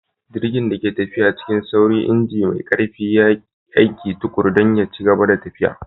Jirgin da ke tafiya cikin sauri, injin mai ƙarfi ya yi aiki tuƙuru don ya ci gaba da tafiya.